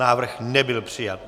Návrh nebyl přijat.